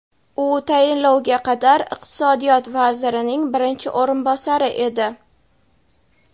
U tayinlovga qadar iqtisodiyot vazirining birinchi o‘rinbosari edi.